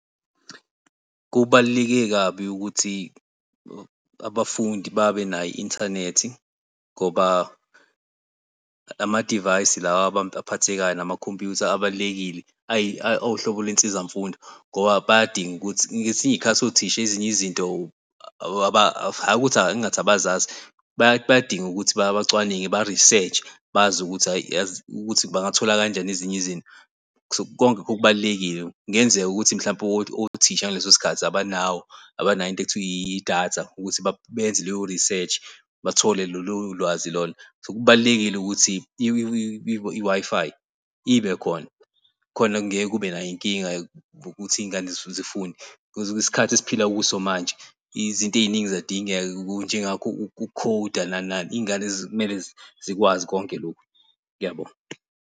Kubaluleke kabi ukuthi abafundi babenayo i-inthanethi ngoba ama-device lawa aphathekayo namakhompuyutha abalulekile. Awuhlobo lwensiza mfundo ngoba bayadinga ukuthi ngesinye isikhathi, othisha ezinye izinto hhayi ukuthi ngingathi abazazi bayadinga ukuthi bacwaninge ba-reseach-e bazi ukuthi hhayi ukuthi bangathola kanjani ezinye izinto. Konke lokho kubalulekile kungenzeka ukuthi mhlawumbe othisha ngaleso sikhathi, abanawo abanayo into ekuthiwa idatha ukuthi benze leyo research, bathole lolo lwazi lolo. So kubalulekile ukuthi i-Wi-Fi ibe khona khona kungeke kube nayo inkinga ngokuthi iy'ngane zifunde. Because isikhathi esiphila kuso manje izinto eziningi ziyadingeka njengakho uku-code-a, nani nani, izingane zimele zikwazi konke lokhu. Uyabo